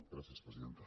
gràcies presidenta